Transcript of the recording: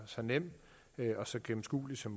så nem og så gennemskuelig som